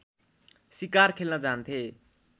सिकार खेल्न जान्थे